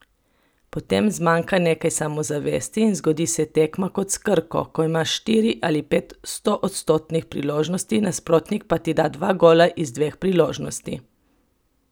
Potem zmanjka nekaj samozavesti in zgodi se tekma kot s Krko, ko imaš štiri ali pet stoodstotnih priložnosti, nasprotnik pa ti da dva gola iz dveh priložnosti.